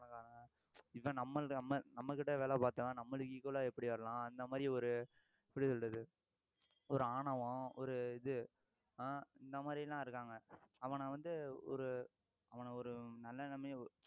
இவன் நம்மளது நம்ம~ நம்மகிட்ட வேலை பார்த்தவன் நம்மளுக்கு equal ஆ எப்படி வரலாம் அந்த மாதிரி ஒரு எப்படி சொல்றது ஒரு ஆணவம் ஒரு இது ஆஹ் இந்த மாதிரியெல்லாம் இருக்காங்க அவனை வந்து ஒரு அவன ஒரு நல்ல நிலைமையை